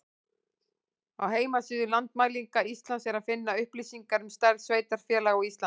Á heimasíðu Landmælinga Íslands er að finna upplýsingar um stærð sveitarfélaga á Íslandi.